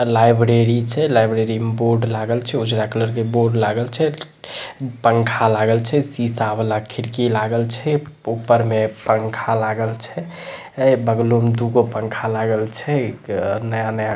अ library छै library मे board लागल छै उजरा कलर के बोर्ड लागल छै पंखा लागल छै शीशा वला खिड़की लागल छै ऊपर मे पंखा लागल छै ए बगलों मे दूगो पंखा लागल छै क नया-नया।